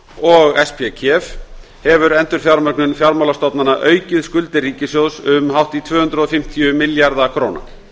og spkef hefur endurfjármögnun fjármálastofnana aukið skuldir ríkissjóðs um hátt í tvö hundruð og fimmtíu milljarða króna